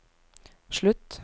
slutt